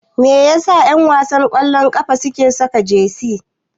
Me yasa ƴanwasan ƙwallon ƙafa suke saka jesi?